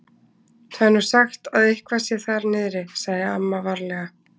Það er nú sagt að eitthvað sé þar niðri. sagði amma varlega.